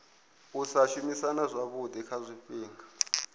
sa shumisana zwavhui kha zwifhinga